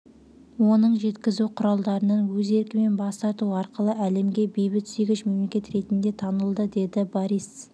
оның жеткізу құралдарынан өз еркімен бас тарту арқылы әлемге бейбітсүйгіш мемлекет ретінде танылды деді борис